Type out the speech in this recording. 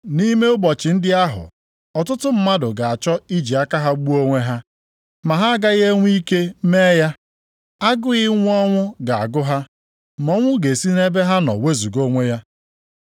Nʼime ụbọchị ndị ahụ, ọtụtụ mmadụ ga-achọ iji aka ha gbuo onwe ha ma ha agaghị enwe ike mee ya. Agụụ ịnwụ ọnwụ ga-agụ ha, ma ọnwụ ga-esi nʼebe ha nọ wezuga onwe ya.